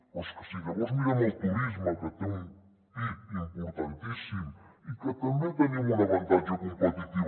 però és que si llavors mirem el turisme que té un pib importantíssim i que també tenim un avantatge competitiu